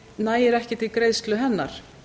nægir ekki til greiðslu hennar